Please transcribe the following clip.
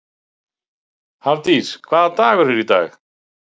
Hafdís, hvaða dagur er í dag?